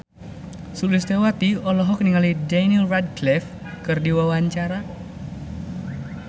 Sulistyowati olohok ningali Daniel Radcliffe keur diwawancara